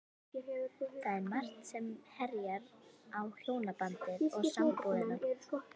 Það er margt sem herjar á hjónabandið og sambúðina.